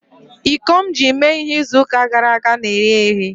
iko m ji mee ihe izu gara aga na-eri eri